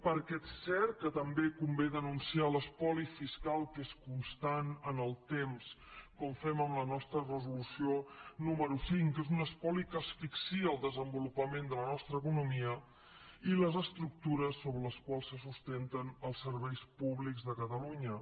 perquè és cert que també convé denunciar l’espoli fiscal que és constant en el temps com fem en la nostra resolució número cinc que és un espoli que asfixia el desenvolupament de la nostra economia i les estructures sobre les quals se sustenten els serveis públics de catalunya